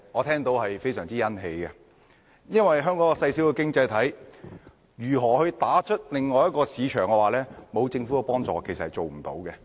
香港是一個細小的經濟體，若我們要打進另一市場，沒有政府的幫助是做不到的。